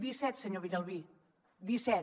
disset senyor villalbí disset